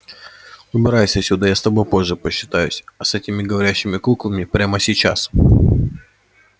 убирайся отсюда я с тобой позже посчитаюсь а с этими говорящими куклами прямо сейчас